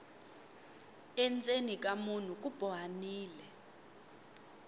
endzeni ka munhu ku bohanile